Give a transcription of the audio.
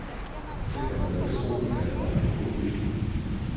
Det kan man da vist roligt kalde mangel på god vilje.